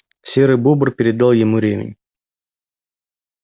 серый бобр передал ему ремень